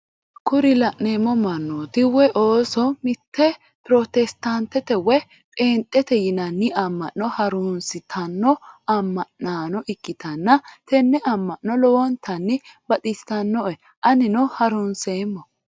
Kuri la'neemo mannooti woyi ooso mitte protestaantete woy pheenxete yinanni amma'no harunsitanno amma'naano ikkitanna tenne amma'no lowontanni baxisanno"e anino harunseemmo.